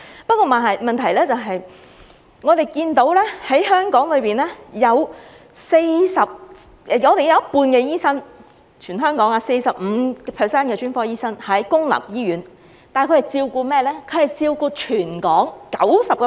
不過，問題是，我們看到香港有一半醫生 ......45% 的專科醫生在公立醫院服務，但他們是照顧誰的呢？